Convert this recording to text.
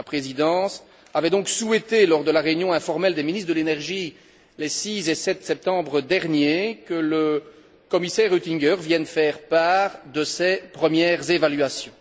La Présidence avait donc souhaité, lors de la réunion informelle des ministres de l'énergie, les 6 et 7 septembre derniers, que le commissaire Oettinger vienne faire part de ses premières évaluations.